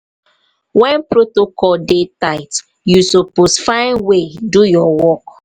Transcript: wen protocol dey tight you suppose find way do your work.